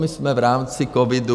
My jsme v rámci covidu...